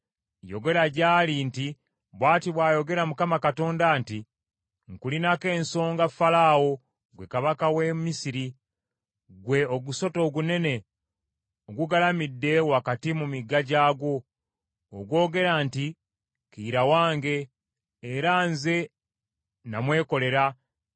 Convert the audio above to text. Yogera gy’ali nti, ‘Bw’ati bw’ayogera Mukama Katonda nti, “ ‘Nkulinako ensonga, Falaawo, ggwe kabaka w’e Misiri, ggwe ogusota ogunene ogugalamidde wakati mu migga gyagwo, ogwogera nti, “Kiyira wange, era nze nnamwekolera.”